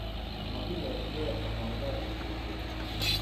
Mokilosuge omoilosun kokwet